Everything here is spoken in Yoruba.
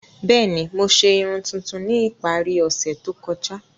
Bẹẹni, Mo ṣe irun tuntun ni ipari ose to kọja.